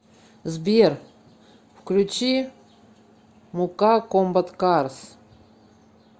сбер включи мука комбат карс